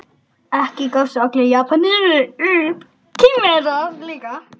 Ekki gáfust allir Japanir upp.